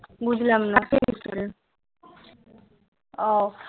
বুঝলাম না